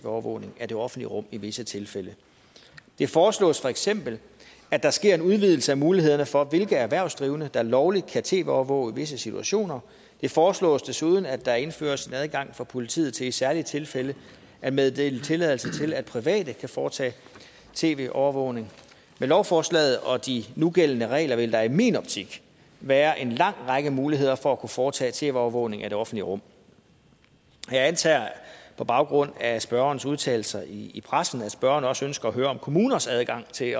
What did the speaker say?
overvågning af det offentlige rum i visse tilfælde det foreslås feks at der sker en udvidelse af mulighederne for hvilke erhvervsdrivende der er lovligt kan tv overvåge visse situationer det foreslås desuden at der indføres en adgang for politiet til i særlige tilfælde at meddele tilladelse til at private kan foretage tv overvågning med lovforslaget og de nugældende regler vil der i min optik være en lang række muligheder for at kunne foretage tv overvågning af det offentlige rum jeg antager på baggrund af spørgerens udtalelser i pressen at spørgeren også ønsker at høre om kommuners adgang til